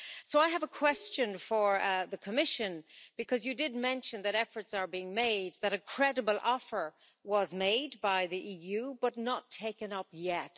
So I have a question for the Commission, because you did mention that efforts are being made that a credible offer was made by the EU, but not taken up yet.